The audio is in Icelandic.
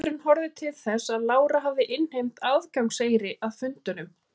Dómurinn horfði til þess að Lára hafði innheimt aðgangseyri að fundunum.